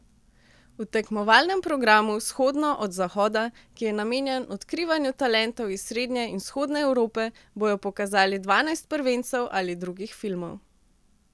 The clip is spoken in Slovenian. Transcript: V tekmovalnem programu vzhodno od zahoda, ki je namenjen odkrivanju talentov iz srednje in vzhodne Evrope, bojo pokazali dvanajst prvencev ali drugih filmov.